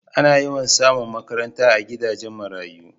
A na yawan samu makaranta a gidajen marayu